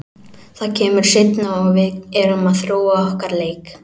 Það kemur seinna og við erum að þróa okkar leik.